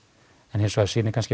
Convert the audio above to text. en hins vegar sýni